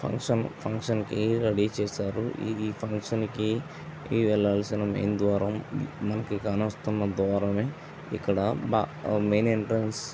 function function అవి ready చేశారు ఇది ఫంక్షన్ కీ వెళ్లవలిసిన మెయిన్ ద్వారము మనకు అంస్తం ధుఫా దూరం ఇక్కడ మెయిన్ ఎంట్రన్స్ --